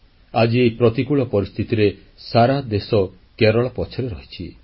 ଆଜି ଏହି ପ୍ରତିକୂଳ ପରିସ୍ଥିତିରେ ସାରା ଦେଶ କେରଳ ପଛରେ ରହିଛି